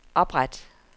opret